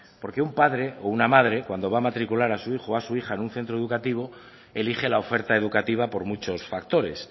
porque un padre o una madre cuando va a matricular a su hijo o a su hija en un centro educativo elige la oferta educativa por muchos factores